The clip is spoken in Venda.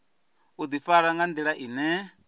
u ḓifara nga nḓila ine